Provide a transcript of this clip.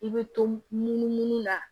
I bɛ to munumunu na